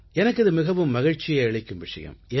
எனக்கு இது மிகவும் மகிழ்ச்சியை அளிக்கும் விஷயம்